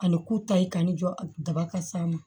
Ani ku ta in kan ni jɔ a daba ka s'a ma